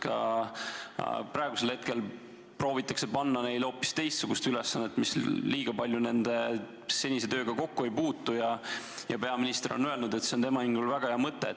Sest ka praegu proovitakse panna neile hoopis teistsugust ülesannet, mis liiga palju nende senise tööga kokku ei puutu, ja peaminister on öelnud, et see on tema hinnangul väga hea mõte.